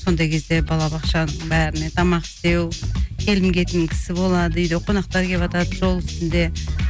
сондай кезде балабақша бәріне тамақ істеу келім кетім кісі болады үйде қонақтар келіватады жол үстінде